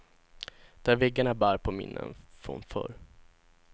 Där väggarna bär på minnen från förr.